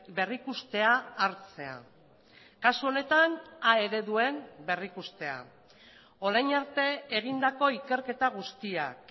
berrikustea hartzea kasu honetan a ereduen berrikustea orain arte egindako ikerketa guztiak